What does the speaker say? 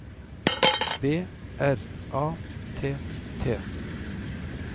B R A T T